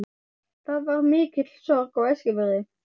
Það varð mikil sorg á Eskifirði.